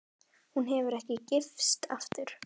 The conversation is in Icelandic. Hún hefur ekki gifst aftur.